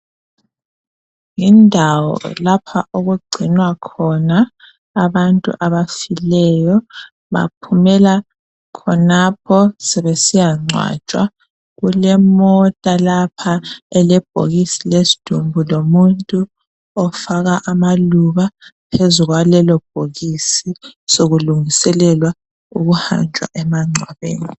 Yindawo lapha okugcinwa khona abantu abafileyo. Baphumela khonapho sebesiyangcwatshwa, kulemota lapha elebhokisi lesidumbu lomuntu ofaka amaluba phezu kwalelobhokisi sokulungiselelwa kuhanjwa emangcwabeni.